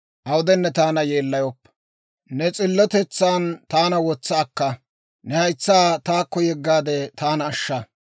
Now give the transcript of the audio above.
Ne s'illotetsaan taana wotsa akka; ne haytsaa taakko yeggaade, taana ashsha.